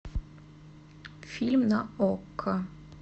фильм на окко